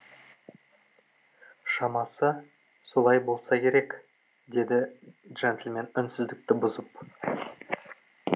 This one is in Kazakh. шамасы солай болса керек деді жентльмен үнсіздікті бұзып